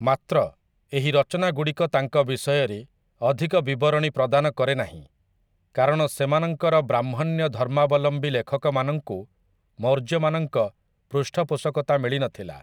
ମାତ୍ର, ଏହି ରଚନାଗୁଡ଼ିକ ତାଙ୍କ ବିଷୟରେ ଅଧିକ ବିବରଣୀ ପ୍ରଦାନ କରେନାହିଁ, କାରଣ ସେମାନଙ୍କର ବ୍ରାହ୍ମଣ୍ୟ ଧର୍ମାବଲମ୍ବୀ ଲେଖକମାନଙ୍କୁ ମୌର୍ଯ୍ୟମାନଙ୍କ ପୃଷ୍ଠପୋଷକତା ମିଳିନଥିଲା ।